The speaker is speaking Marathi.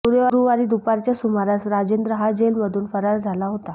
गुरुवारी दुपारच्या सुमारास राजेंद्र हा जेलमधून फरार झाला होता